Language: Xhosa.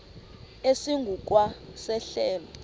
esingu kwa sehlelo